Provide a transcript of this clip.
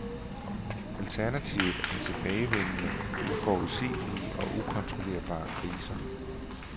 Alternativet er tilbagevendende, uforudsigelige og ukontrollerbare kriser.